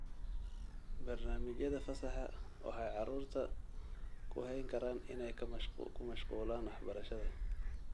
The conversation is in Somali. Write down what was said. Barnaamijyada fasaxa waxay carruurta ku hayn karaan inay ku mashquulaan waxbarashada.